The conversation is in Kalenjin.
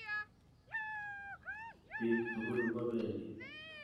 Piik tukul kopendi.